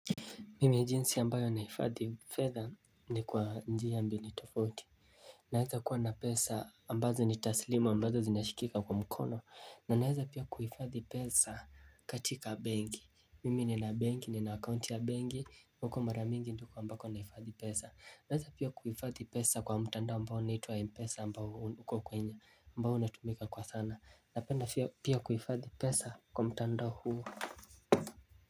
Mimi jinsi ambayo nahifadhi fedha ni kwa njia mbili tofauti Naweza kuwa na pesa ambazo ni taslimu ambazo zinashikika kwa mkono na naeza pia kuhifadhi pesa katika benki Mimi nina benki nina akaunti ya benki huko mara mingi ndiko ambako nahifadhi pesa Naweza pia kuhifadhi pesa kwa mtandao ambao unaitwa Mpesa ambao unatumika kwa sana napenda pia kuhifadhi pesa kwa mtandao huu.